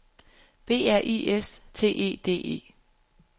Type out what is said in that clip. B R I S T E D E